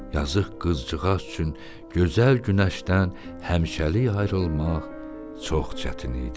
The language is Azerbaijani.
Yazıq qızcığaz üçün gözəl günəşdən həmişəlik ayrılmaq çox çətin idi.